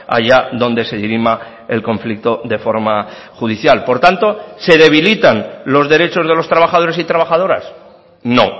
haya donde se dirima el conflicto de forma judicial por tanto se debilitan los derechos de los trabajadores y trabajadoras no